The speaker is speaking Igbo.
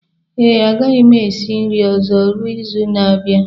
Ee, agaghị m esi nri ọzọ ruo izu na-abịa